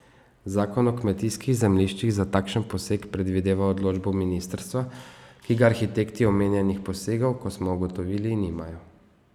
Zakon o kmetijskih zemljiščih za takšen poseg predvideva odločbo ministrstva, ki ga arhitekti omenjenih posegov, kot smo ugotovili, nimajo.